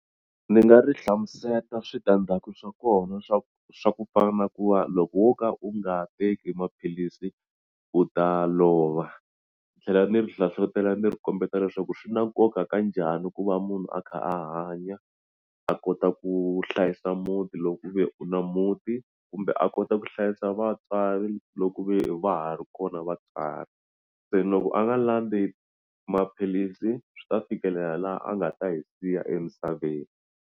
Ni nga ri hlamuseta switandzhaku swa kona swa ku swa ku fana na ku va loko wo ka u nga teki maphilisi u ta lova ni tlhela ni ri hlohlotela ni ri kombeta leswaku swi na nkoka ka njhani ku va munhu a kha a hanya a kota ku hlayisa muti lo ku ve u na muti kumbe a kota ku hlayisa vatswari lo ku ve ha ri kona vatswari se loko a nga landzi maphilisi swi ta fikelela laha a nga ta hi siya emisaveni.